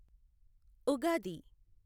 Ugadi